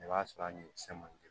I b'a sɔrɔ a ni cɛ ma di